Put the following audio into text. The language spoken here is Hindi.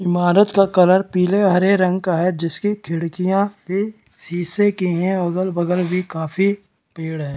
ईमारत का कलर पीले और हरे रंग का है जिसके खिड़कियाँ भी सीसे के है अगल-बगल भी काफी पेड़ हैं।